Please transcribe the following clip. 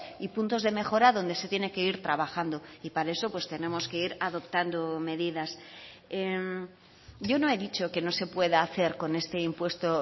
y puntos de mejora donde se tiene que ir trabajando y para eso pues tenemos que ir adoptando medidas yo no he dicho que no se pueda hacer con este impuesto